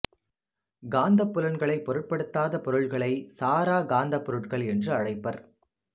காந்தப்புலங்களைப் பொருட்படுத்தாத பொருட்களை சாராக் காந்தப் பொருட்கள் என்று அழைப்பர்